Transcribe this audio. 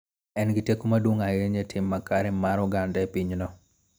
En gi teko maduong� ahinya e tim makare mar oganda e pinyno.